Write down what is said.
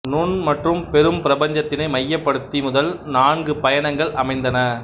நுண் மற்றும் பெரும் பிரபஞ்சத்தினை மையப்படுத்தி முதல் நான்கு பயணங்கள் அமைந்தன